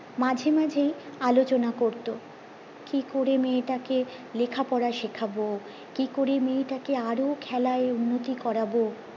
মাঝে মাঝেই আলোচনা করতো কি করে মে টাকে লেখা পড়া শেখাবো কি করে মেয়ে টাকে আরো খেলায় উন্নতি করবো